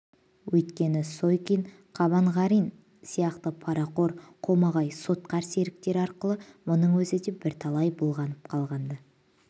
өйткені сойкин қабанғарин сияқты парақор қомағай сотқар серіктері арқылы мұның өзі де бірталай былғанып қалған-ды